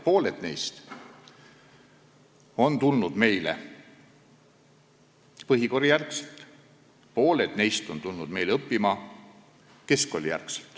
Pooled neist on tulnud meile põhikooli järel, pooled on tulnud keskkooli järel.